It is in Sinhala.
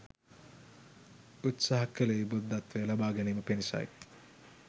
උත්සහ කළේ බුද්ධත්වය ලබා ගැනීම පිණිසයි.